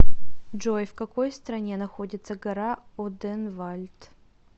джой в какой стране находится гора оденвальд